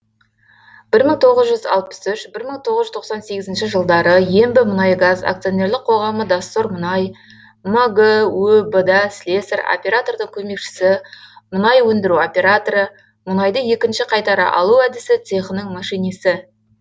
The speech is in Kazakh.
бір мың тоғыз жүз алпыс үшінші бір мың тоғыз жүз тоқсан сегізінші жылдары ембімұнайгаз акционерлік қоғамы доссормүнай мгөб да слесарь оператордың көмекшісі мұнай өндіру операторы мұнайды екінші қайтара алу әдісі цехының машинисі